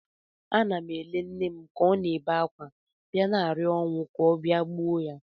Ana m ele nne ka ọ na-ebe akwa, bịa na-arịọ ọnwụ ka ọ bịa gbuo ya